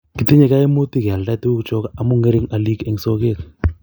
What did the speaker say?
kitinye kaimutik keoldei tugukcho omu ng'ering oliik eng sokeet